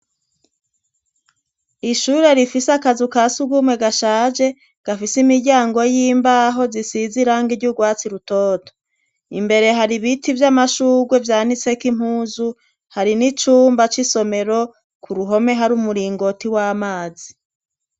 Ishure rifise akazu kasugumwe gashaje gafise imiryango y'imbaho zisiz'irangi ry'ugwatsi rutoto. Imbere har'ibiti vy'amashurwe vyanitsek'impuzu. Hari n'icumba c'isomero k'uruhome, har'umuringoti w'amazi.